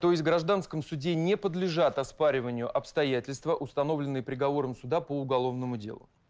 то есть гражданском суде не подлежат оспариванию обстоятельства установленные приговором суда по уголовному делу